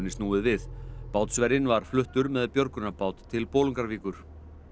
snúið við bátsverjinn var fluttur með björgunarbát til Bolungarvíkur